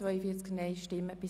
Wer sie ablehnt, stimmt Nein.